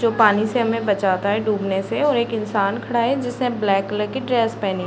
जो पानी से हमें बचाता है डूबने से और एक इंसान खड़ा है जिसने ब्लैक कलर की ड्रेस पहनी --